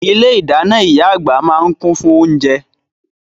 Ilé-ìdáná ìyá àgbà máa ń kún fún oúnjẹ.